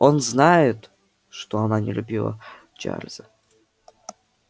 он знает что она не любила чарлза